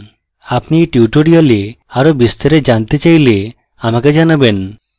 আপনি এই tutorial আরো বিস্তারে জানতে চাইলে আমাকে জানাবেন